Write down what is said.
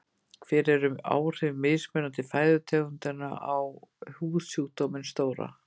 hver eru áhrif mismunandi fæðutegunda á húðsjúkdóminn sóra